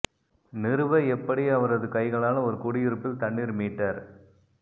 நிறுவ எப்படி அவரது கைகளால் ஒரு குடியிருப்பில் தண்ணீர் மீட்டர்